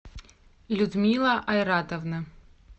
людмила айратовна